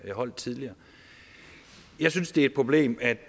jeg holdt tidligere jeg synes det er et problem at